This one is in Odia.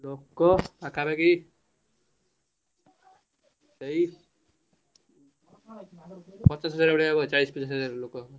ଲୋକ ପାଖ ପାଖି ସେଇ ପଚାଶ ହଜାର ଚାଳିଶ ପଚାଶ ହଜାର ଲୋକ।